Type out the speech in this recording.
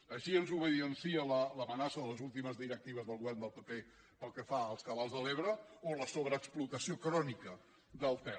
així ens ho evidencia l’amenaça de les últimes directives del govern del pp pel que fa als cabals de l’ebre o la sobreexplotació crònica del ter